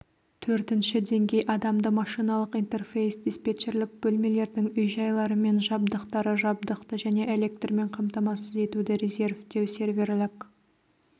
төртінші деңгей адамды-машиналық интерфейс диспетчерлік бөлмелердің үй-жайлары мен жабдықтары жабдықты және электрмен қамтамасыз етуді резервтеу серверлік